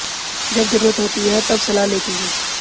जब जरूरत होती है तब सलाह लेती हूं